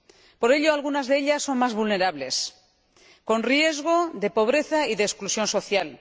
Por eso, algunas de ellas son más vulnerables, con riesgo de pobreza y de exclusión social.